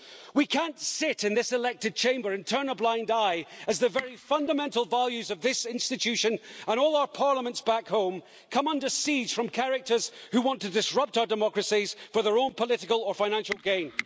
We can't sit in this elected chamber and turn a blind eye as the very fundamental values of this institution and all our parliaments back home come under siege from characters who want to disrupt our democracies for their own political or financial gain.